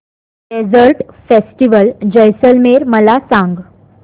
desert festival Jaisalmer मला सांग